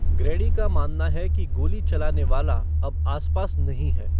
Grady का मानना है कि गोली चलाने वाला अब आसपास नहीं है।